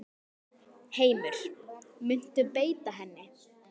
Heimir: Muntu beita henni?